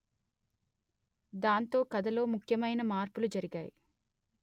దాంతో కథలో ముఖ్యమైన మార్పులు జరిగాయి